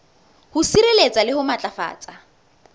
ho sireletsa le ho matlafatsa